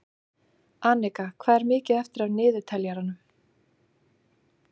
Anika, hvað er mikið eftir af niðurteljaranum?